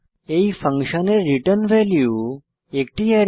এই ফাংশনের return value একটি অ্যারে